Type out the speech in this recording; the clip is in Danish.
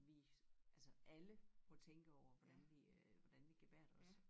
Vi altså alle må tænke over hvordan vi øh hvordan vi gebærder os